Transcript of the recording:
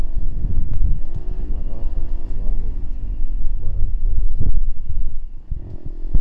маратом ивановичем воронцовым